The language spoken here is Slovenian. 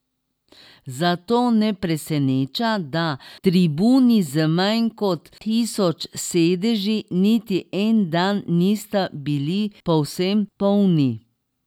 Zato ne preseneča, da tribuni z manj kot tisoč sedeži niti en dan nista bili povsem polni.